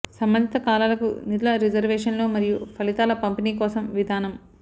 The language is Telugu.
సంబంధిత కాలాలకు నిధుల రిజర్వేషన్లు మరియు ఫలితాల పంపిణీ కోసం విధానం